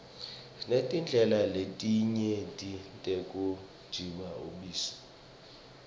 sinetindlela letinyeti tekutijabulisa